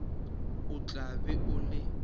o tla be o le